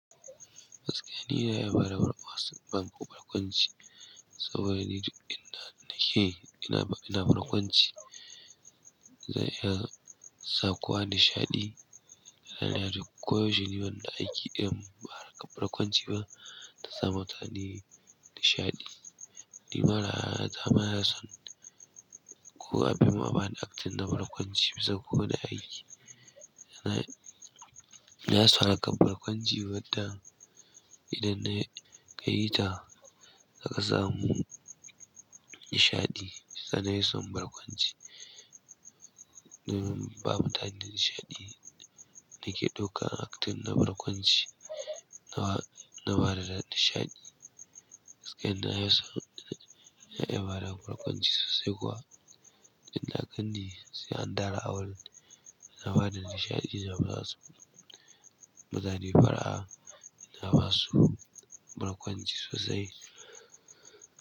Gaskiya ni na iya bada warwas banko barkwanci saboda ni duk in da nake ina, ina barkwanci. Zai iya sa kowa nishaɗi. Da na yarda kowa ya ji ni banda aiki ɗaya ba haka barkwanci ba ta zamu ta ni nishaɗi. Ni marar zamara son ko abin ma bani aktin na barkwanci bisa ko wane aiki. Na, na so haka barkwanci wadda idan na kai ta suka samu nishaɗi. Sa na yi son barkwanci domin babu tayin nishaɗi da ke ɗaukan aktin na barkwanci na bada nishaɗi. Gaskiya inafison na iya bada barkwanci sosai kuwa. Idan na ganni sai an dawo, na bada nishaɗi na bazasu. Mutane fara'a ina basu barkwanci sosai.